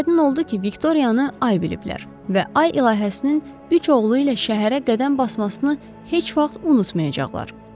Aydın oldu ki, Viktoriyanı ay biliblər və ay ilahəsinin üç oğlu ilə şəhərə qədəm basmasını heç vaxt unutmayacaqlar.